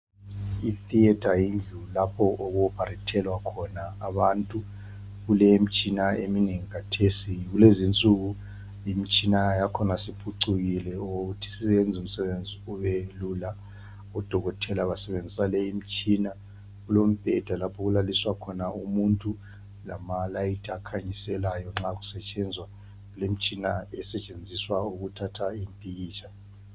Ithiyetha kulapho oku ophalethelwa khona abantu ,kulemitshina eminengi kathesi ,kulezinsuku imitshina ya khona isiphucukile okokuthi isiyenza umsebenzi kubelula ,kulembheda lapho okulaliswe khona umuntu, lamalayithi akhanyiselayo , lemitshina esebenzisa ukuthatha impikitsha.